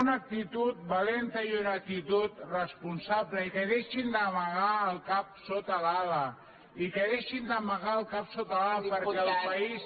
una actitud valenta i una actitud responsable i que deixin d’amagar el cap sota l’ala i que deixin d’amagar el cap sota l’ala perquè el país